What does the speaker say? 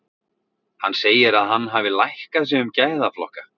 Hann segir að hann hafi lækkað sig um gæðaflokka.